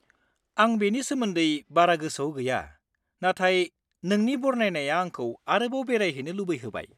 -आं बेनि सोमोन्दै बारा गोसोआव गैया, नाथाय नोंनि बरनायनाया आंखौ आरोबाव बेरायहैनो लुबैहोबाय।